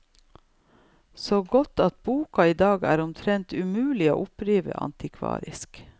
Så godt at boka i dag er omtrent umulig å oppdrive antikvarisk.